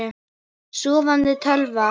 Sofandi tölva.